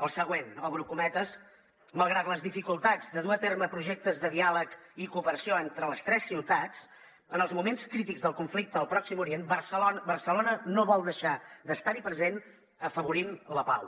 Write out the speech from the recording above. el següent obro cometes malgrat les dificultats de dur a terme projectes de diàleg i cooperació entre les tres ciutats en els moments crítics del conflicte al pròxim orient barcelona no vol deixar d’estar hi present afavorint la pau